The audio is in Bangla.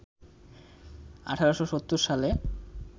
১৮৭০ সালে